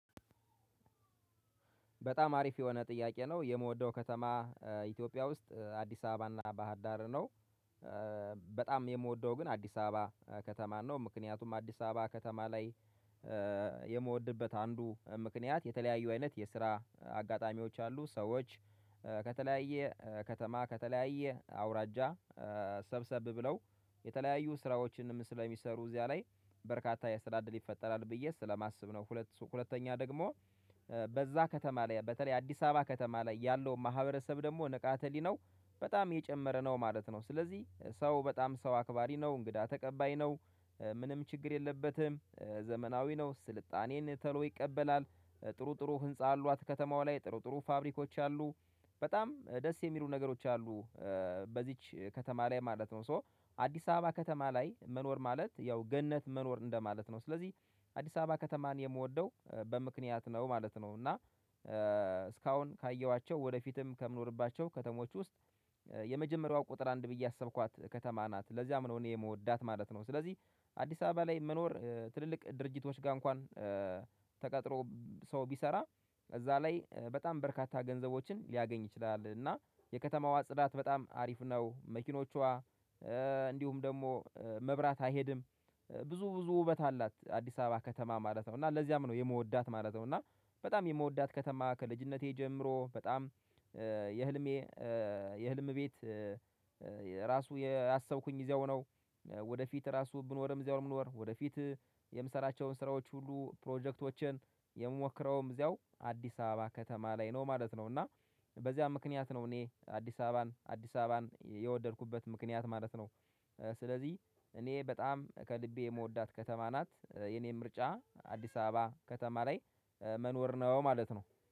በጣም አሪፍ የሆነ ጥያቄ ነው የምወደው ከተማ ኢትዮጵያ ውስጥ አዲስ አበባና ባህር ዳር ነው። በጣም የምወደው ግን አዲስ አበባ ከተማን ነው። ምክንያቱም አዲስ አበባ ከተማ ላይ የምወድበት አንዱ ምክንያት የተለያዩ አይነት የስራ አጋጣሚዎች አሉ ሰዎች ከተለያየ ከተማ ከተለያየ አውራጃ ሰብሰብ ብለው የተለያዩ ስራዎችንም ስለሚሰሩ እዚያ ላይ በርካታ የስራ እድል ይፈጠራል ብዬ ስለማስብ ነው። ሁለተኛ ደግሞ በዛ ከተማ ላይ በተለይ አዲስ አበባ ከተማ ላይ ያለው ማህበረሰብ ደግሞ ንቃተ ህሊናው በጣም የጨመረ ነው ማለት ነው። ስለዚህ ሰው በጣም ሰው አክባሪ ነው እንግዳ ተቀባይ ነው። ምንም ችግር የለበትም ዘመናዊ ነው ስልጣኔን ቶሎ ይቀበላል። ጥሩ ጥሩ ህንፃ አሏት ከተማዋ ላይ ጥሩ ጥሩ ፋብሪኮች አሉ። በጣም ደስ የሚሉ ነገሮች አሉ በዚች ከተማ ላይ ማለት ነው። ሶ አዲስ አበባ ከተማ ላይ መኖር ማለት ያው ገነት መኖር እንደማለት ነው። ስለዚህ አዲስ አበባ ከተማን የምወደው በምክንያት ነው ማለት ነው። እና እስካሁን ካየኋቸው ወደፊትም ከምኖርባቸው ከተሞች ውስጥ የመጀመሪያዋ ቁጥር አንድ ብዬ ያሰብኳት ከተማ ናት ለዚያም ነው እኔ የምወዳት ማለት ነው። ስለዚህ አዲስ አበባ ላይ መኖር ትልልቅ ድርጅቶች ጋር እንኳን ተቀጥሮ ሰው ቢሰራ እዛ ላይ በጣም በርካታ ገንዘቦችን ሊያገኝ ይችላል። እና የከተማዋ ጽዳት በጣም አሪፍ ነው። መኪኖቿ እንዲሁም ደግሞ መብራት አይሄድም። ብዙ ብዙ ውበት አላት አዲስ አበባ ከተማ ማለት ነው እና ለዚያም ነው የምወዳት ማለት ነው። እና በጣም የምወዳት ከተማ ከልጅነቴ ጀምሮ በጣም የህልሜ የህልም ቤት ራሱ ያሰብኩኝ እዛው ነው። ወደፊት ራሱ ብኖርም እዛው ነው ምኖር ወደፊት። የምሰራቸውን ስራዎች ሁሉ ፕሮጀክቶችን የምሞክረውም እዚያው አዲስ አበባ ከተማ ላይ ነው ማለት ነው። እና በዚያም ምክንያት ነው እኔ አዲስ አበባን የወደድኩበት ምክንያት ማለት ነው። ስለዚህ እኔ በጣም ከልቤ የምወዳት ከተማ ናት የኔ ምርጫ አዲስ አበባ ከተማ ላይ መኖር ነው ማለት ነው